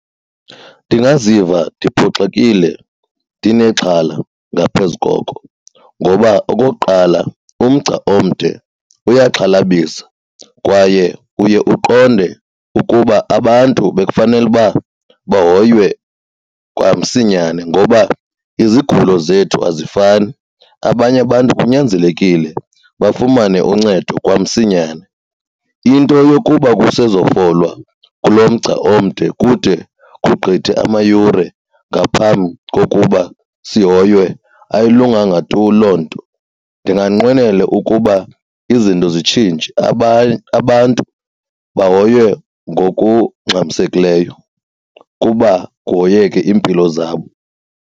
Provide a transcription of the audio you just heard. Ndingaziva ndiphoxekile ndinexhala ngaphezu koko. Ngoba okokuqala, umgca omde uyaxhalabisa kwaye uye uqonde ukuba abantu bekufanele uba bahoywe kwamsinyane ngoba izigulo zethu azifani, abanye abantu kunyanzelekile bafumane uncedo kwamsinyane. Into yokuba kusezofolwa kulo mgca omde kude kugqithe amayure ngaphambi kokuba sihoywe ayilunganga tu loo nto. Ndinganqwenela ukuba izinto zitshintshe, abantu bahoywe ngokungxamisekileyo kuba kuhoyeke iimpilo zabo.